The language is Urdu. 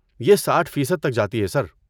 یہ ساٹھ فیصد تک جاتی ہے، سر